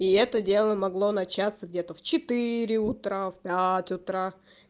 и это дело могло начаться где-то в четыре утра в пять утра